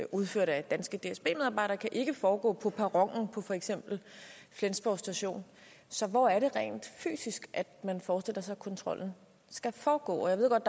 udført af danske dsb medarbejdere ikke kan foregå på perronen på for eksempel flensborg station så hvor er det rent fysisk man forestiller sig at kontrollen skal foregå jeg ved godt